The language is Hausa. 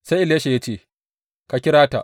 Sai Elisha ya ce, Ka kira ta.